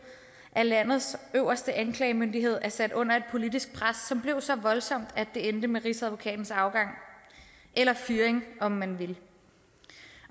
at landets øverste anklagemyndighed er sat under et politisk pres som blev så voldsomt at det endte med rigsadvokatens afgang eller fyring om man vil